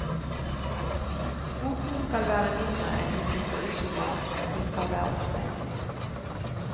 Kvotene skal være mindre enn de slipper ut i dag, og de skal være omsettelige.